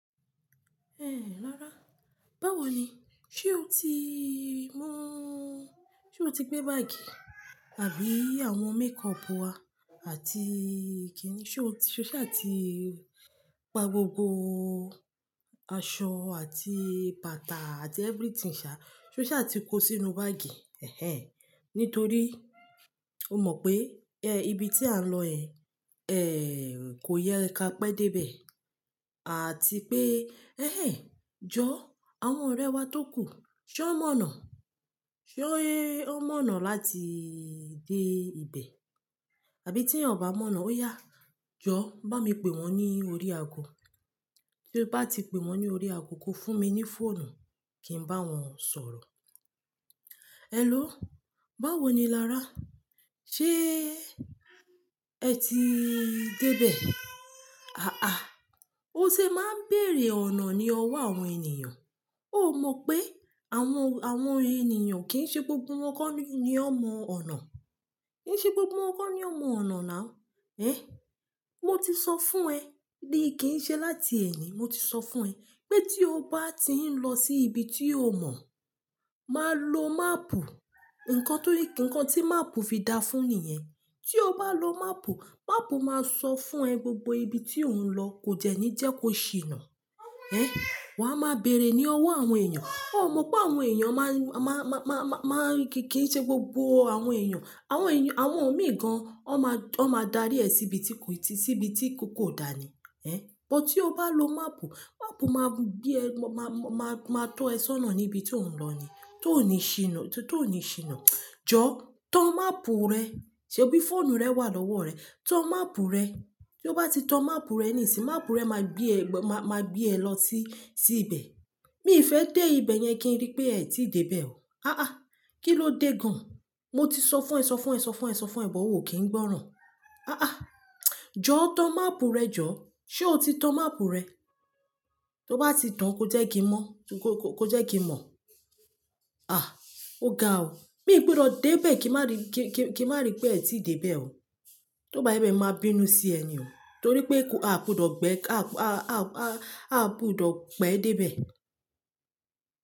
Ẹ̀, lára, báwo ni? Ṣé o ti mú. Ṣé o ti gbé báàgì àbí àwọn makeup wa àti kí ni? Ṣé o ṣa ti pa gbogbo aṣọ àti bàtà àti everything ṣa? Ṣé o ṣà ti kó sínú báàgì? Ẹ̀hẹn. Nítorí o mọ̀ pé, ẹ, ibi tí à ń lọ yẹn, ẹ, kò yẹ kí a pé dé bẹ̀. Àti pé, ẹ́hẹn, jọ̀, àwọn ọ̀rẹ́ wa tó kù, ṣé wọ́n mọ̀nà? Ṣé wọ́n mọ̀nà láti dé ibibẹ̀? Àbí tí èèyàn o bá mọ̀nà, ó yá, jọ, bámi pè wọ́n ní orí aago. Tí o bá ti pè wọ́n ní orí ago, kó fún mi ní fóònù kí n bá wọn sọ̀rọ̀. Hello, báwo ni lára? Ṣé ẹ ti dé bẹ̀? Haha, o ṣe máa ń bèèrè ọ̀nà ní ọwọ́ àwọn ènìyàn. Ó mọ̀ pé àwọn, àwọn ènìyàn kì í ṣe gbogbo wọn kọ́ ni ó mọ ọ̀nà. Kì í ṣe gbogbo wọn kọ́ ni ó mọ ọ̀nà now. Eh! Mo ti sọ fún ẹ bí i kì í ṣe láti ẹni. Mo ti sọ fún ẹ pé tí o bá ti ń lọ sí ibi tí o mọ̀, máa lo máàpù. Ǹkan torí kí-- ǹkan tí máàpù fi dá fún ni yẹn. Tí o bá lo máàpù, máàpù máa sọ fún ẹ gbogbo ibi tí ò ń lọ kò jẹ́ ní jẹ́ kó ṣìnà. He! Wà á máa bèèrè ní ọwọ́ àwọn ènìyàn. Ó mọ̀ pé àwọn ènìyàn máa ń, má, má, má, má, má kíì ṣe gbogbo àwọn ènìyàn. Àwọn ènìyàn, àwọn míì gan an, wọ́n máa, wọ́n máa darí ẹ síbi tí kò ti, síbi tí kò kò dà ni. Ẹ, but tí o bá lo máàpù, máàpù máa gbé ẹ, máa, máa, máa tọ́ ẹ sọ́nà níbi tí ò ń lọ ni, tó o ní ṣìnà, tó, tó o ní ṣìnà. Jọ, tan máàpù rẹ. Ṣé òbí fóònù rẹ wà lọ́wọ́ rẹ? Tan máàpù rẹ. Tí o bá ti tan máàpù rẹ níìsín, máàpù rẹ máa gbé ẹ gbọ-- máa, máa gbé ẹ lọ sí, sí ibẹ̀. Mii fẹ́ dé ibẹ̀ yẹn kí n rí pé ẹ tí dé bẹ̀ o. Haha, kí ló dé gan an? Mo ti sọ fún ẹ, sọ fún ẹ, sọ fún ẹ, sọ fún ẹ, but ò kí ń gbọ́ràn. Àá, jọ tan máàpù rẹ jọ. Ṣé o ti tan máàpù rẹ? Tí o bá ti tan kó jẹ́ kí n mọ́, kó, kó, kó jẹ́ kí n mọ̀. À, o ga o. Mi ò gbọdọ̀ dé bẹ̀ kí n má rí, kí, kí, kí n má rí pé ẹ ti dé bẹ̀ o. Tí ó bá rí bẹ́ẹ̀ máa bínú sí ẹ ni o. Torí pé a kò gbọdọ̀ gbe, a, a, a, a, a kò gbọdọ̀ pẹ́ dé bẹ̀.